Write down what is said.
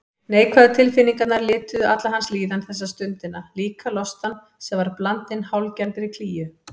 Neikvæðu tilfinningarnar lituðu alla hans líðan þessa stundina, líka lostann sem var blandinn hálfgerðri klígju.